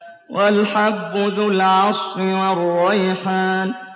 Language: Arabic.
وَالْحَبُّ ذُو الْعَصْفِ وَالرَّيْحَانُ